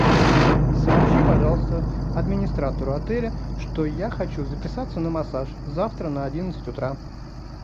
сообщи пожалуйста администратору отеля что я хочу записаться на массаж завтра на одиннадцать утра